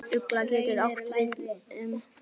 Ugla getur átt við um